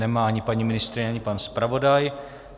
Nemá ani paní ministryně ani pan zpravodaj.